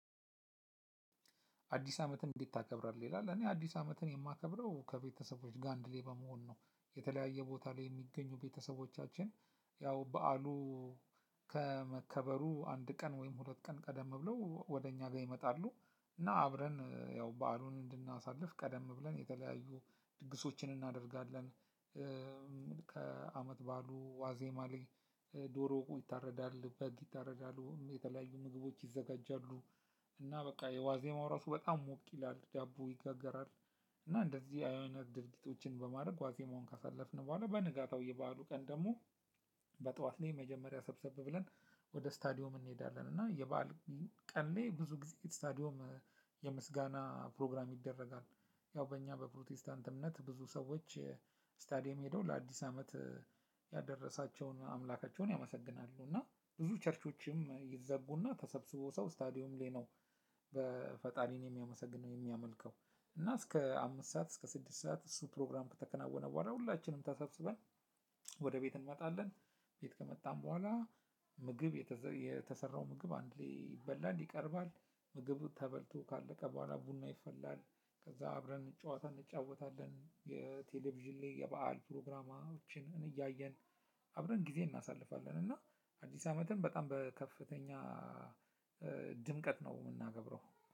አዲስ አመትን እንዴት ታከብራለህ? ይላል እኔ አዲስ አመትን የማከብረው ከቤተሰቦች ጋር አንድላይ በመሆን ነው የተለያየ ቦታ ላይ የሚገኙ ቤተሰቦቻችን። ያው በዓሉ ከመከበሩ አንድ ቀን ወይም ሁለት ቀን ቀደም ብለው ወደ እኛ ጋር ይመጣሉ። እና አብረን ያው በዓሉን እንድናሳልፍ ቀደም ብለን የተለያዩ ድግሶችን እናደርጋለን። ከአመት በዓሉ ዋዜማ ላይ ድሮ ይታረዳል በግ ይታረዳል የተለያዩ ምግቦች ይዘጋጃሉ። እና በቃ የዋዜማው ራሱ በጣም ሞቅ ይላሉ ዳቦ ይጋገራል። እና እንደዚህ አይነት ድርጊቶችን በማድረግ ዋዜማውን ካሳለፍን በኋላ በንጋታው የበአሉ ቀን ደግሞ። በጧት ላይ መጀመሪያ ሰብሰብ ብለን ወደ ስታዲዮ እንሄዳለን። እና የበአል ቀን ላይ ብዙ ጊዜ ስታዲዮም የምስጋና ፕሮግራም ይደረጋል። ያው በእኛ በፕሮቲስታንት እምነት ብዙ ሰዎች ስታዲየም ሄደው ለአዲስ አመት ያደረሳቸውን አምላካቸውን ያመሰግናሉ። እና ብዙ ቸርቾችም ይዘጉና ተሰብስቦ ሰው ስታዲዮም ላይ ነው። በፈጣሪንም የሚያመሰግነው የሚያመልከው እና እስከ አምስት ሰዓት እስከ ስድስት ሰዓት እሱ ፕሮግራም ከተከናወነ በኋላ ሁላችንም ተሰብስበን። ወደ ቤት እንመጣለን ቤት ከመጣን በኋላ ምግብ የተሰራው ምግብ አንድ ላይ ይበላል ይቀርባል። ምግብ ተበልቶ ካለቀ በኋላ ቡና ይፈላል። ከዛ አብረን ጨዋታ እንጫወታለን የቴሌቪዥን ላይ የበአል ፕሮግራማችንን እያየን አብረን ጊዜ እናሳልፋለን። እና አዲስ አመትም በጣም በከፍተኛ ድምቀት ነው የምናከብረው።